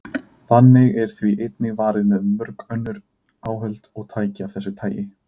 Þannig er því einnig varið með mörg önnur áhöld og tæki af þessu tagi.